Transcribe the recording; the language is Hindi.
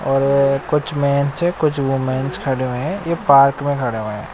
और कुछ मैंस हैं कुछ वूमेंस खड़े हुए हैं एक पार्क में खड़े हुए हैं।